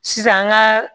Sisan an ka